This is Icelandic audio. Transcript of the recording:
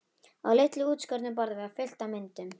Á litlu útskornu borði var fullt af myndum.